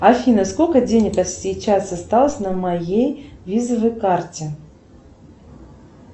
афина сколько денег сейчас осталось на моей визовой карте